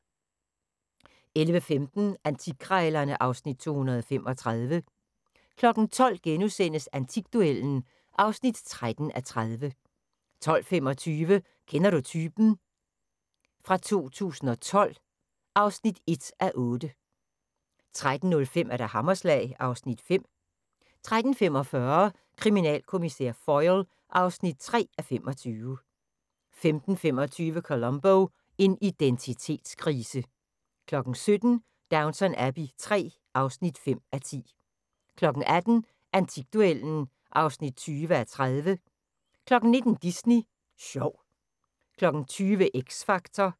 11:15: Antikkrejlerne (Afs. 235) 12:00: Antikduellen (13:30)* 12:25: Kender du typen? 2012 (1:8) 13:05: Hammerslag (Afs. 5) 13:45: Kriminalkommissær Foyle (3:25) 15:25: Columbo: En identitetskrise 17:00: Downton Abbey III (5:10) 18:00: Antikduellen (20:30) 19:00: Disney Sjov 20:00: X Factor